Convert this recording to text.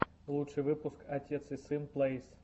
лучший выпуск отец и сын плэйс